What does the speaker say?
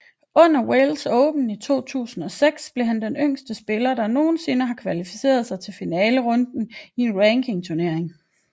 Under Welsh Open i 2006 blev han den yngste spiller der nogensinde har kvalificeret sig til finalerunden i en rankingturnering